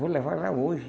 Vou levar ela hoje.